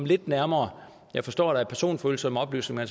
lidt nærmere jeg forstår at der er personfølsomme oplysninger